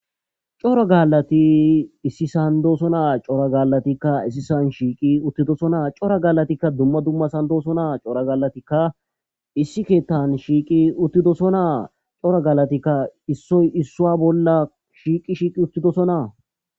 Cora gaallathi issisan doosona; cora gaallathikka issisan shiiqi uththidosona; cora gaallathikka dumma dumma sohon doosona; cora gaallathikka issi keeththaani shiiqi uththidosona;cora gaallathikka issoy issuwa bolla shiiqi shiiqi uththidosona.